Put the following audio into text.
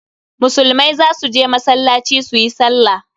Musulmai za su je masallaci su yi sallah.